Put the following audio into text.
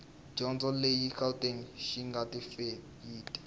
dyondzo ya le gauteng xitifikheyiti